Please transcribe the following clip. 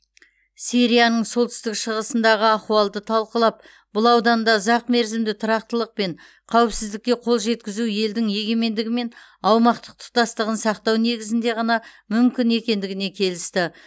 сирияның солтүстік шығысындағы ахуалды талқылап бұл ауданда ұзақмерзімді тұрақтылық пен қауіпсіздікке қол жеткізу елдің егемендігі мен аумақтық тұтастығын сақтау негізінде ғана мүмкін екендігіне келісті